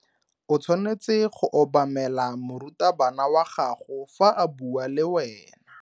O tshwanetse go obamela morutabana wa gago fa a bua le wena.